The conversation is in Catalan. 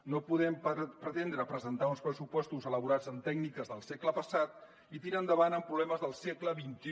no podem pretendre presentar uns pressupostos elaborats amb tècniques del segle passat i tirar endavant amb problemes del segle xxi